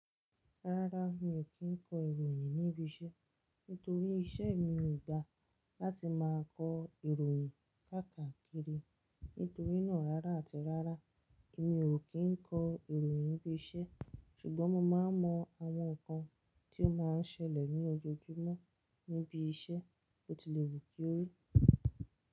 Rárá, mi ò kí ń kọ ìròyìn níbi iṣẹ́ nítorí iṣẹ́ mi ò gba láti máa kọ ìròyìn káàkakiri. Nítorí náà, rárá àti rárá mi ò kí ń kọ ìròyìn níbi iṣẹ́ ṣùgbọ́n mo máa ń mọ àwọn nǹkan tí ó máa ń ṣẹlẹ̀ ní ojoojúmọ́ níbi iṣẹ́ bó ti lè wù kí ó rí.